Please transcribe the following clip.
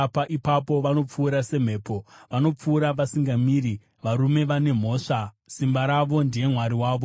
Ipapo vanopfuura semhepo, vanopfuura vasingamiri, varume vane mhosva, simba ravo ndiye mwari wavo.”